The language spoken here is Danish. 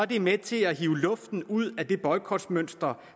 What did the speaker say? det med til at hive luften ud af det boykotmønster